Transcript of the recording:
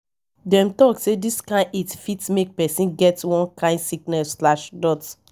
dem tok sey dis kain heat fit make pesin get one kain sickness.